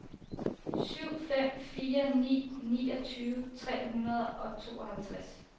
syv fem fire ni niogtyve tre hundrede og tooghalvtreds